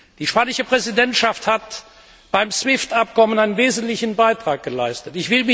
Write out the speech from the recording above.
Die spanische Präsidentschaft hat beim SWIFT Abkommen einen wesentlichen Beitrag geleistet.